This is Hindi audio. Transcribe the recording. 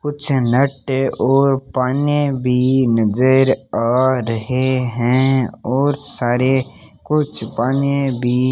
कुछ नट और पाने भी नज़र आ रहे हैं और सारे कुछ पाने भी --